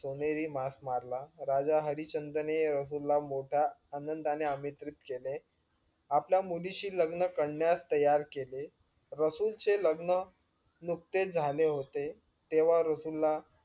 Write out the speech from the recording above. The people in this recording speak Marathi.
सोनेरी मांस मारला राजा हरिश्चंद्राने रसूल ला मोठा आनंदाने अमित्रित केले. आपल्या मुलीशी लग्न करण्यास तयार केले. रसूल चे लग्न नुकतेच झाले होते. तेंव्हा रसूल ला.